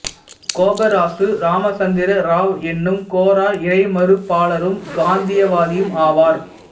கோபராசு ராமச்சந்திர ராவ் எனும் கோரா இறைமறுப்பாளரும் காந்தியவாதியும் ஆவார்